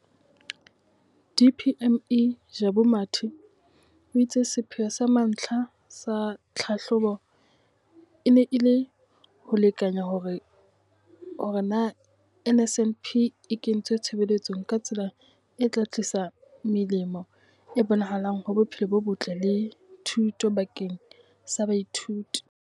DPME, Jabu Mathe, o itse sepheo sa mantlha sa tlhahlobo e ne e le ho lekanya hore na NSNP e kentswe tshebetsong ka tsela e tla tlisa melemo e bonahalang ho bophelo bo botle le thuto bakeng sa baithuti.